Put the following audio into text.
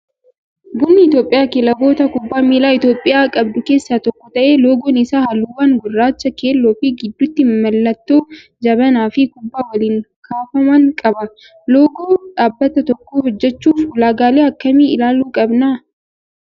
Bunni Itoophiyaa kilaboota kubbaa miilaa Itoophiyaan qabdu keessaa tokko ta'ee, loogoon isaa halluuwwan gurraacha, keelloo fi gidduutti mallattoo jabanaa fikubbaa waliin kaafaman qaba. Loogoo dhaabbata tokkoo hojjachuuf ulaagaalee akkamii ilaaluu qabnaa?